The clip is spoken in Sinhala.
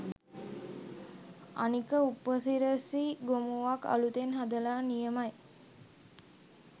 අනික උපසිරසි ගොමුවක් අලුතෙන් හදල නියමයි